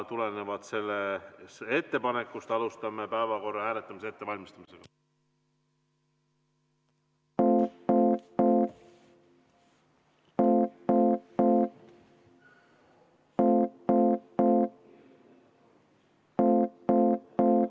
Tulenevalt sellest ettepanekust alustame päevakorra hääletamise ettevalmistamist.